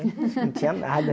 Não tinha nada.